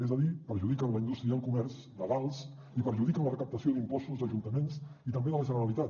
és a dir perjudiquen la indústria i el comerç legals i perjudiquen la recaptació d’impostos d’ajuntaments i també de la generalitat